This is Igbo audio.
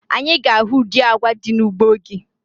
Anyị ga-ahụ ụdị agwa dị n'ugbo gị